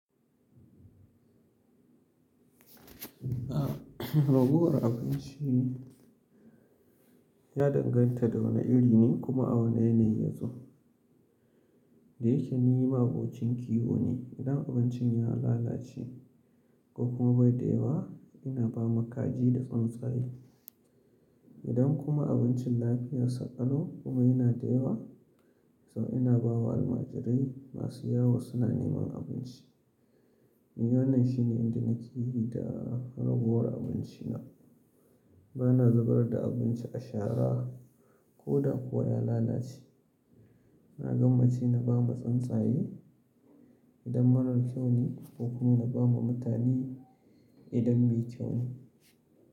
A, raguwar abinci ya danganta da wane iri ne kuma a wane yanayi ya zo. Dayakeni ma abocin kiwo ne, idan abincin ya lalace ko kuma bai da yawa ina ba ma kaji da tsuntsaye. Idan kuma abincin lafiyar saƙalo kuma yana da yawa, sau ina bawa almajirai masu yawo suna neman abinci. Wannan shine inda nake yi da ragowar abinci na. Bana zubar da abinci a shara ko da kuwa ya lalace. Na gama ci na ba ma tsuntsaye idan marar kyau ne ko kuma na ba ma mutane idan mai kyau ne.